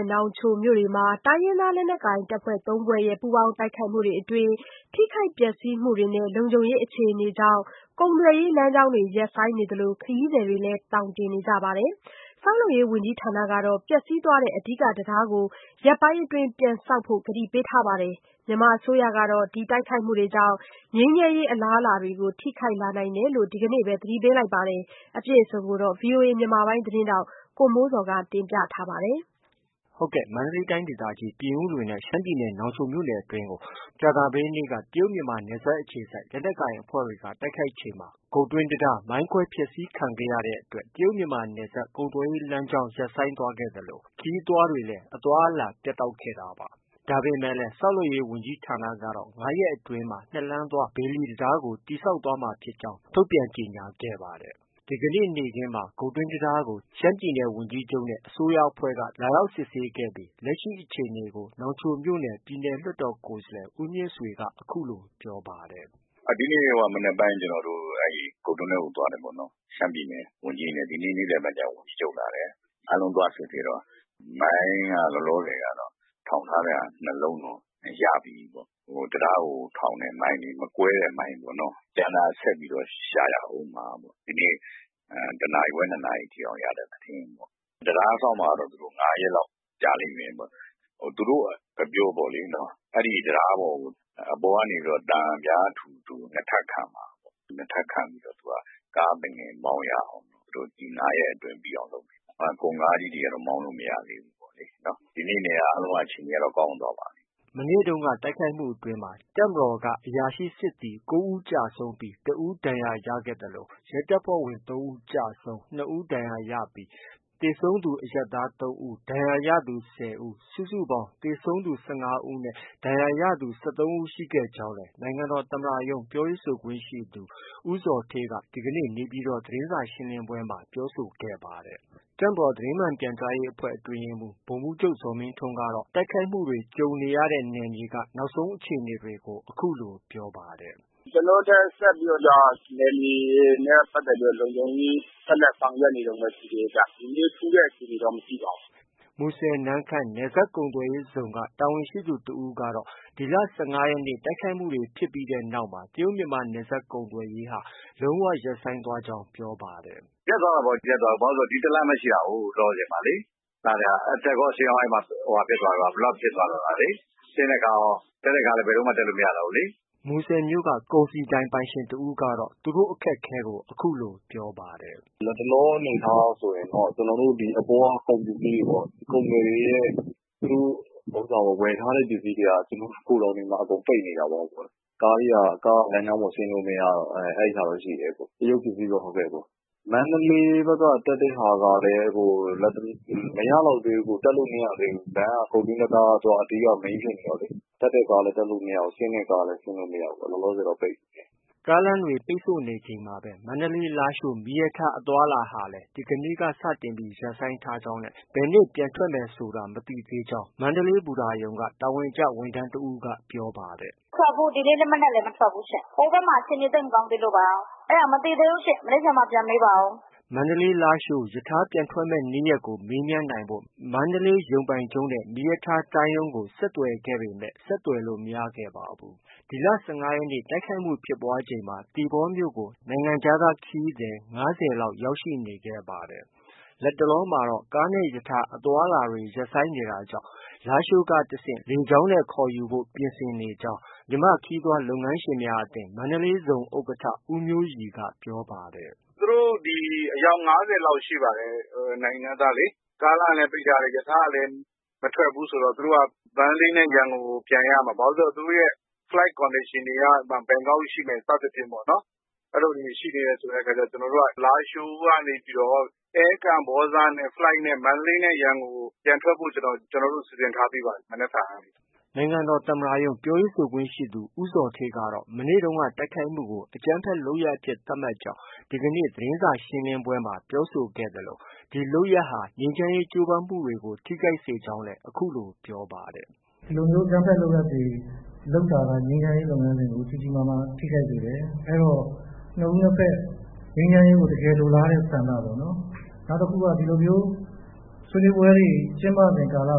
ဲ့ နောင်ချိုမြို့နယ်တွေမှာ တိုင်းရင်းသားလက်နက်ကိုင် အဖွဲ့ ၃ ဖွဲ့ရဲ့ ပူးပေါင်းတိုက်ခိုက်မှုတွေအတွင်း ထိခိုက်ပျက်စီးမှုတွေနဲ့ လုံခြုံရေး အခြေအနေကြောင့် ကုန်သွယ်ရေး လမ်းကြောင်းတွေ ရပ်ဆိုင်းနေသလို ခရီး သည်တွေလည်း သောင်တင်နေကြပါတယ်။ ဆောက်လုပ်ရေး ဝန်ကြီးဌာနကတော့ ပျက်စီးသွားတဲ့ အဓိက တံတားကို ရက်ပိုင်းအတွင်း ပြန်ဆောက်ဖို့ ကတိပေးထားပါတယ်။ မြန်မာအစိုးရကတော့ တိုက်ခိုက်မှုကြောင့် ငြိမ်းချမ်းရေး အလားအလာတွေကို ထိခိုက်လာနိုင်တယ်လို့လည်း ဒီကနေ့ပဲ သတိပေးခဲ့ တာပါ။ အပြည့်အစုံကိုတော့ ဗွီအိုအေမြန်မာပိုင်း သတင်းထောက်ကိုမိုးဇော်က တင်ပြထားပါတယ်။ မန္တလေးတိုင်းဒေသကြီး ပြင်ဦးလွင်နဲ့ ရှမ်းပြည်နယ် နောင်ချိုမြို့နယ်အတွင်းကို ဗုဒ္ဓဟူးနေ့က တရုတ်မြန်မာ နယ်စပ်အခြေစိုက် လက်နက်ကိုင်အဖွဲ့တွေက တိုက်ခိုက်ချိန်မှာ ဂုတ်တွင်းတံတားကို မိုင်းခွဲဖျက်ဆီးခံခဲ့ ရတဲ့အတွက် ကုန်သွယ်ရေးလမ်းကြောင်း ရပ်ဆိုင်းသွားခဲ့သလို၊ ခရီးသွားတွေလည်း အသွားအလာ ပြတ်တောက်ခဲ့တာပါ။ ဒါပေမဲ့လည်း ဆောက်လုပ်ရေးဝန်ကြီးဌာနကတော့၅ ရက်အတွင်းမှာ ၂ လမ်းသွား ဘေလီတံတားကိုတည်ဆောက်သွားမှာဖြစ်ကြောင်း ထုတ်ပြန်ကြေညာခဲ့ပါတယ်။ ဒီကနေ့ နေ့ခင်းမှာ ဂုတ်တွင်းတံတားကို ရှမ်းပြည်နယ် ဝန်ကြီးချုပ်နဲ့ အစိုးရအဖွဲ့က လာရောက်စစ်ဆေးပြီး လက်ရှိအခြေအနေကို နောင်ချိုမြို့နယ် ပြည်နယ်လွှတ်တော် ကိုယ်စားလှယ် ဦးမြင့်ဆွေက ပြောပါတယ်။ “ဒီနေ့ မနက်ပိုင်း ကျနော်တို့ ဂုတ်တွင်းထဲကို သွားတယ်ပေါ့နော်။ ရှမ်းပြည်နယ် ဝန်ကြီးတွေနဲ့၊ ဒီနေ့ နေ့လည်ဘက်ကျတော့ ဝန်ကြီးချုပ်လာတယ်။ အားလုံးသွားစစ်ဆေးတော့ မိုင်းက လောလောဆယ်က ထောင်ထားတဲ့ဟာ ၂ လုံးတော့ ရပြီးပြီ။ တံတားကို ထောင်တဲ့ မိုင်းလေ ။မကွဲ တဲ့ မိုင်းပေါ့။ ကျန်တာ ဆက်ပြီးတော့ ရှာရအုံးမှာပေါ့။ ဒီနေ့ တစ်နာရီခွဲ၊ ၂ နာရီထိ ရတဲ့သတင်း။ တံတားဆောက်မှာကတော့ သူတို့ ၅ ရက်လောက် ကြာလိမ့်မယ်ပေါ့။ သူတို့အပြောပေါ့ လေနော်။ အဲဒီတံတားပေါ်ကို အပေါ်ကနေ သံပြားထူထူ ၂ ထပ်ခံမှာပေါ့။ ၂ထပ်ခံပြီး ကားသူငယ်မောင်းရအောင် ဒီ ၅ရက်အတွင်း ပြီးအောင်လုပ်မယ်ပေါ့။ ကုန်ကားကြီးတွေ ကတော့ မောင်းလို့ မရသေးဘူးပေါ့လေနော်။ ဒီနေ့က အားလုံးက အခြေအနေက ကောင်းသွားပါပြီ။” မနေ့တုန်းက တိုက်ခိုက်မှုတွေအတွင်း တပ်မတော်က အရာရှိနဲ့စစ်သည် ၉ ဦး သေဆုံးပြီး၊ ၁ ဦး ဒဏ်ရာရရှိခဲ့ သလို၊ ရဲတပ်ဇွဲ့ဝင် ၃ ဦးကျဆုံး၊ ၂ ဦး ဒဏ်ရာရခဲ့ပြီး၊ သေဆုံးသူ အရပ်သား ၃ ဦး၊ ဒဏ်ရာရသူ ၁၀ ဦး၊ စုစုပေါင်း သေဆုံးသူ ၁၅ ဦး၊ ဒဏ်ရာရသူ ၁၃ ဦး ရှိခဲ့ကြောင်းလည်း နိုင်ငံတော်သမ္မတရုံး ပြောခွင့်ရသူ ဦးဇော်ဌေးက ဒီကနေ့ နေပြည်တော် သတင်းစာရှင်းလင်းပွဲမှာ ပြောဆိုခဲ့ပါတယ်။ တပ်မတော်သတင်းမှန်ပြန်ကြားရေးအဖွဲ့ အတွင်းရေးမှုး ဗိုလ်မှုးချုပ်ဇော်မင်းထွန်းကတော့ တိုက်ခိုက်မှုတွေ ကြုံခဲ့ရတဲ့ နယ်မြေက နောက်ဆုံးအခြေအနေတွေကို အခုလို ပြောပါတယ်။ “ကျနော်တို့လည်း ဆက်လက်ပြီးတော့ နယ်မြေလုံခြုံရေး ဆက်လက်ဆောင်ရွက်နေတုံးပဲ ရှိသေးတယ်။ ဒီနေ့ ထူးတဲ့အခြေအနေတော့ မရှိပါဘူး။ ” မူဆယ်-နမ့်ခမ်း နယ်စပ်ကုန်သွယ်ရေးဇုံက တာဝန်ရှိသူတစ်ဦးကတော့ ဒီလ ၁၅ရက်နေ့ တိုက်ခိုက်မှုဖြစ်ပြီးနောက်မှာ တရုတ်မြန်မာနယ်စပ် ကုန်သွယ်ရေးဟာ လုံး၀ ရပ်ဆိုင်းသွားကြောင်းလည်း ပြောပါတယ်။ “ရပ်သွားတာပေါ့။ ရပ်သွားတာဆို ဒီတလမ်းပဲ ရှိတာလေ။ လောလောဆယ်မှာလေ။ အတက်ကော အဆင်းရော အဲဒီမှာ blockဖြစ်သွားတော့တာလေ။ ဆင်းတဲ့ကားရော၊ တက်တဲ့ကားလည်း ဘယ်လိုမှ တက်လို့ မရတော့ဘူးလေ။” မူဆယ်မြို့က ကုန်စည်ဒိုင်ပိုင်ရှင်တဦးကလည်း သူတို့ အခက်အခဲကို အခုလို ပြောပါတယ်။ “လတ်တလောအနေအထားအရဆိုရင်တော့ ကုန်သည်တွေရဲ့ သူတို့ ဝယ်ထားတဲ့ ပစ္စည်းတွေက ဂိုဒေါင်တွေမှာ အကုန်ပိတ်နေတာပေါ့။ ကားက လမ်းကြောင်းပေါ် ဆင်းလို့ မရတော့။ တရုတ်ပစ္စည်းပဲ။ မန္တေ လးဘက်က တက်တဲ့ဟာကလည်း လတ်တလော မရလောက်သေး ဘူး။ တက်လို့ မရသေးဘူး။ ဂုတ်တွင်းတံတားက အဓိက Mainဖြစ်နေတော့လေ။ တက်တဲ့ကားကလည်း တက်မရဘူး။ ဆင်းတဲ့ကား လည်း ဆင်းမရဘူး။ လောလောဆယ်တော့ပိတ်နေတယ်။” ကားလမ်းပိတ်ဆို့နေချိန်မှာပဲ မန္တလေး-လားရှိုး မီးရထားအသွားအလာဟာလည်း ဒီကနေ့က စတင်ပြီး ရပ်ဆိုင်းထားကြောင်းနဲ့ ဘယ်နေ့ ပြန်ထွက်မယ်ဆိုတာ မသိသေးကြောင်း မန္တလေး ဘူတာရုံက တာဝန်ကျ ဝန်ထမ်းတဦးက ပြောပါတယ်။ “ဒီနေ့ မနက်လည်းမထွက်ဘူးရှင့်။ ဟိုဘက်မှာ အခြေအနေ သိပ်မကောင်းသေးလို့ပါ။ အဲဒါ မနက်ဖြန်မှ ပြန်မေးပါအုံး။” မန္တလေး-လားရှိုးရထားပြန်ထွက်မယ့်နေ့ရက်ကို မေးမြန်းနိုင်ဖို့ မန္တလေးရုံပိုင်ချုပ်နဲ့ မီးရထား တိုင်းရုံးကို ဆက်သွယ်ခဲ့ပေမဲ့ ဆက်သွယ်လို့ မရခဲ့ပါဘူး။ ဒီလ ၁၅ရက်နေ့ တိုက်ခိုက်မှုဖြစ်ပွားချိန်မှာ သီပေါမြို့ကို နိုင်ငံခြားခရီးသည် ၅၀ ခန့်ရောက်ရှိနေခဲ့ပါတယ်။ လတ်တလောမှာ ကားနဲ့ ရထားအသွားအလာတွေရပ်ဆိုင်းနေတာကြောင့် လားရှိုးကတဆင့် လေကြောင်းနဲ့ ခေါ်ယူဖို့ ပြင်ဆင်နေကြောင်း မြန်မာနိုင်ငံ ခရီးသွားလုပ်ငန်းရှင်များအသင်း မန္တလေးဇုံ ဥက္ကဋ္ဌဦးမျိုးရီက ပြောပါတယ်။ “သူတို့ အယောက် ၅၀လောက်ရှိပါတယ်။ နိုင်ငံခြားသားလေ။ ကားလမ်းကလည်း ပိတ်ထားတယ်။ ရထားကလည်း မထွက်ဘူးဆိုတော့ သူတို့က မန္တလေးနဲ့ ရန်ကုန်ကို ပြန်ရမှာ။ ဘာလို့ ဆို သူတို့ရဲ့ Flight Condationတွေက ဘန်ကောက်ရှိမယ် စသည်ဖြင့်ပေါ့လေ။ အဲလိုလေးတွေ ရှိနေတဲ့အ ခါကျတော့ ကျနော်တို့က လားရှိုးကနေပြီးတော့ အဲကမ္ဘောဇနဲ့ Flightနဲ့ မန္တလေးနဲ့ ရန်ကုန်ကို ပြန်ထွက်ဖို့ စီစဉ်ထားပြီးပါပြီ မနက်ဖြန်ကနေ။” နိုင်ငံတော်သမ္မတရုံး ပြောရေးဆိုခွင့်ရှိသူ ဦးဇော်ဌေးကတော့ မနေ့တုန်းက တိုက်ခိုက်မှုကို အကြမ်းဖက်လုပ် ရပ်အဖြစ် သတ်မှတ်ကြောင်း ဒီကနေ့ သတင်းစာရှင်းလင်းပွဲမှာပြောဆိုသွားဲ့သလို၊ ဒီလုပ်ရပ်ဟာ ငြိမ်းချမ်းရေး ကြိုးပမ်းမှုတွေကို ထိခိုက်စေကြောင်း အခုလို ပြောပါတယ်။ “ဒီလိုမျိုး အကြမ်းဖက်လုပ်ရပ်တွေလုပ်တာက ငြိမ်းချမ်းရေးလုပ်ငန်းစဉ်ကို ကြီးကြီးမားမား ထိခိုက်စေတယ်။ အဲဒီတော့ နှစ်ဦးနှစ်ဘက် ငြိမ်းချမ်းရေးကို တကယ်လိုလားတဲ့ဆန္ဒပေါ့နော်-နောက်တခုက ဒီလိုမျိုး ဆွေးနွေးပွဲတွေ ကျင်းပစဉ်ကာလ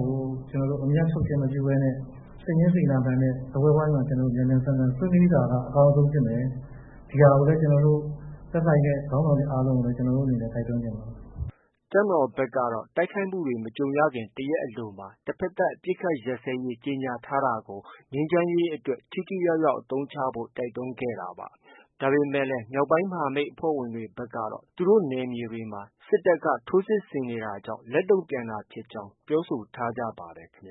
ကို အမြတ်ထုတ်ချင်းမပြုဘဲနဲ့ စိတ်ရင်းစေတနာမှန်နဲ့ စားပွဲဝိုင်းမှာ မြန်မြန်ဆန်ဆန် ဆွေးနွေးတာက အကောင်းဆုံး ဖြစ်မယ်။ ဒီဟာကိုလည်း သက်ဆိုင်တဲ့ခေါင်းဆောင်တွေ အားလုံးကို ကျနော်တို့အနေနဲ့ တိုက်တွန်းချင်ပါတယ်။” တပ်မတော်ကတော့ တိုက်ခိုက်မှုတွေနဲ့ မကြုံရခင် တရက်အလိုမှာပဲ တဘက်သတ် အပစ်အခတ် ရပ်စဲရေး ကြေညာထားတာကို ငြိမ်းချမ်းရေးအတွက် ထိထိရောက်ရောက် အသုံးချဖို့ တိုက်တွန်းခဲ့တာပါ။ ဒါပေမဲ့လည်း မြောက်ပိုင်းမဟာမိတ် အဖွဲ့ဝင်တွေ ဘက်ကတော့ သူတို့နယ်မြေတွေမှာ စစ်တပ်က ထိုးစစ်တွေကြောင့် လက်တုံ့ပြန်တာဖြစ်ကြောင်းပြောဆိုထားကြပါတယ်ခင်ဗျ